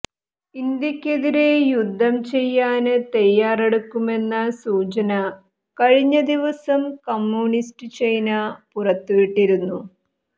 ഇന്ത്യക്കെതിരെ യുദ്ധം ചെയ്യാന് തയാറെടുക്കുമെന്ന സൂചന കഴിഞ്ഞ ദിവസം കമ്മ്യൂണിസ്റ്റ് ചൈന പുറത്തുവിട്ടിരുന്നു